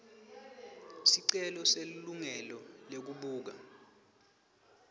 sicelo selilungelo lekubuka